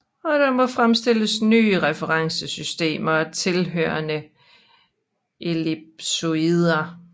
Og der må fremstilles nye referencesystemer og tilhørende ellipsoider